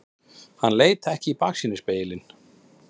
Hann leit ekki í baksýnisspegilinn.